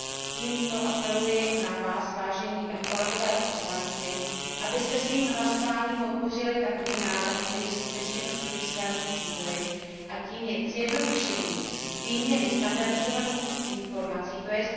Tímto apeluji na vás, vážení kolegové poslanci, abyste svým hlasováním podpořili takový návrh, který skutečně dostojí svému cíli, a tím je zjednodušení výměny standardizovaných informací, tj.